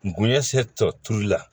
Ngunɛ se tɔ toli la